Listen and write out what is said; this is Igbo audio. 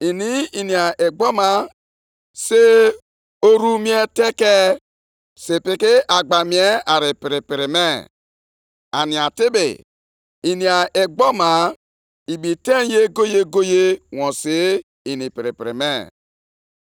Nʼihi nke a, ọ na-achụ aja na-esurekwa ihe nsure ọkụ na-esi isi ụtọ nye ụgbụ ya, nʼihi na ọ bụ ụgbụ ya na-eme ka ọ na-ebi ezi ndụ, na-erikwa nri kachasị mma